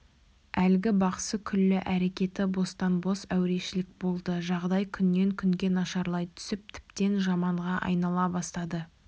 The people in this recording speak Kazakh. әлгі бақсы күллі әрекеті бостан-бос әурешілік болды жағдай күннен күнге нашарлай түсіп тіптен жаманға айнала бастады